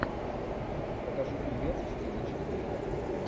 покажи фильмец в стиле чикфлика